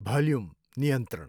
volume नियन्त्रण